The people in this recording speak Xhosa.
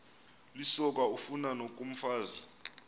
lisoka ufani nokomfazi